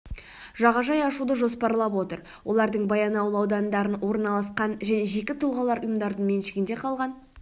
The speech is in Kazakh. жағажай ашуды жоспарлап отыр олардың баянауыл ауданында орналасқан және жеке тұлғалар мен ұйымдардың меншігінде қалған